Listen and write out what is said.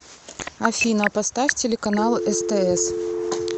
афина поставь телеканал стс